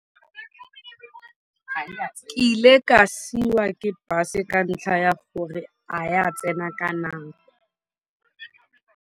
Ke ile ka siwa ke bus ka ntlha ya gore a ya tsena ka nako.